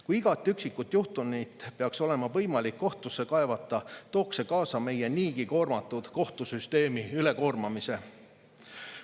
Kui igat üksikut juhtumit peaks olema võimalik kohtusse kaevata, tooks see kaasa meie niigi koormatud kohtusüsteemi ülekoormamise.